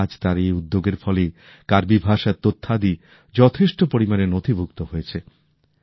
তাই আজ তার এই উদ্যোগের ফলেই কার্বি ভাষার তথ্যাদি যথেষ্ট পরিমাণে নথিভূক্ত হয়েছে